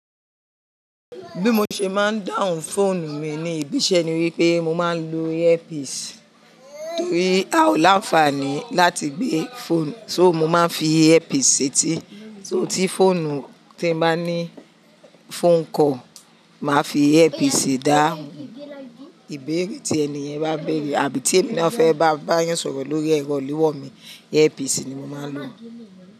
Bí mo ṣe máa ń dáhùn fóònù mi ní ibi iṣẹ́ ni wípé mo máa ń lo earpiece, torí a o láǹfààní láti gbé fóònù, so mo máa ń fi earpiece seti. So tí fóònù tí bá ní phone call, màá fi earpiece dáhùn. Ìbéèrè tí ènìyàn bá béèrè àbí tí èmi ní ó fẹ́ bá yín sọ̀rọ̀ lórí ẹ̀rọ ìléwọ́ mi, earpiece ni mo máa ń lò.